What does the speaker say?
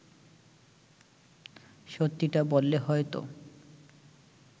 সত্যিটা বললে হয়তো